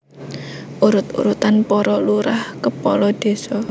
Urut urutan poro Lurah/Kepolo Deso